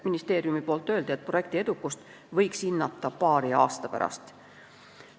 Ministeeriumi arvates võiks projekti edukust hinnata paari aasta pärast.